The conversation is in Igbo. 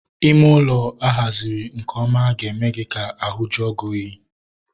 Ime ụlọ a haziri nke ọma ga-eme ka ahu jue gị oyi